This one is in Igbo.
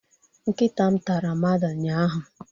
Nkịta m tara mmadụ ụnyahụ